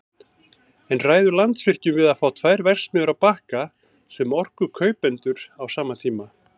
En ræður Landsvirkjun við að fá tvær verksmiðjur á Bakka sem orkukaupendur á sama tíma?